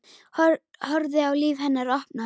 Horfi á líf hennar opnast.